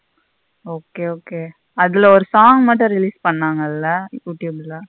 Okay okay அதுல ஒரு song மட்டும் release பணங்கள்ள youtube ல.